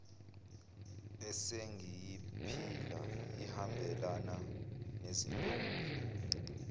esengiyiphila ihambelana nezintombi